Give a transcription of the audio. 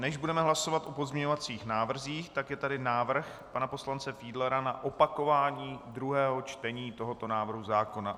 Než budeme hlasovat o pozměňovacích návrzích, tak je tady návrh pana poslance Fiedlera na opakování druhého čtení tohoto návrhu zákona.